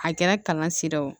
A kɛra kalan sira ye o